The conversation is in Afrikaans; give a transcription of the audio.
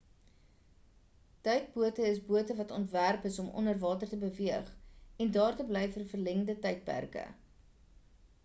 duikbote is bote wat ontwerp is om onderwater te beweeg en daar te bly vir verlengde tydperke